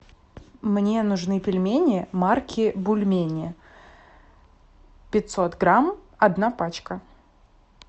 мне нужны пельмени марки бульмени пятьсот грамм одна пачка